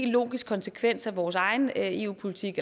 logisk konsekvens af vores egen eu politik